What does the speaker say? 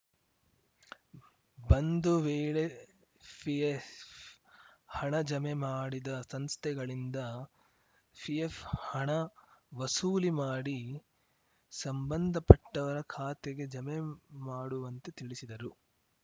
ಬಂದುವೇಳೆ PF ಹಣ ಜಮೆ ಮಾಡಿದ ಸಂಸ್ಥೆಗಳಿಂದ ಪಿಎಫ್‌ ಹಣ ವಸೂಲಿ ಮಾಡಿ ಸಂಬಂಧಪಟ್ಟವರ ಖಾತೆಗೆ ಜಮೆ ಮಾಡುವಂತೆ ತಿಳಿಸಿದರು